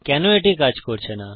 কেন এটি কাজ করছে না